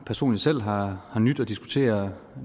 personligt selv har nydt at diskutere